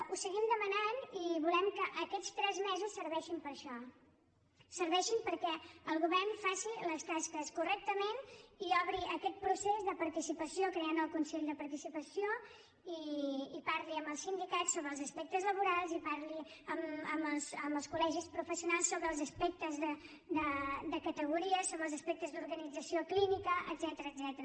ho seguim demanant i volem que aquests tres mesos serveixin per a això serveixin perquè el govern faci les tasques correctament i obri aquest procés de participació creant el consell de participació i parli amb els sindicats sobre els aspectes laborals i parli amb els col·legis professionals sobre els aspectes de categories sobre els aspectes d’organització clínica etcètera